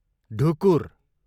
ढुकुर